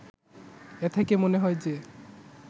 এ থেকে মনে হয় যে